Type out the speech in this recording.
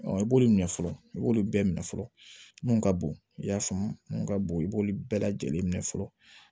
I b'olu minɛ fɔlɔ i b'olu bɛɛ minɛ fɔlɔ mun ka bon i y'a faamu mun ka bon i b'olu bɛɛ lajɛlen minɛ fɔlɔ